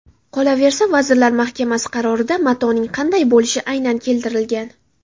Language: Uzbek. Qolaversa, Vazirlar Mahkamasi qarorida matoning qanday bo‘lishi aynan keltirilgan.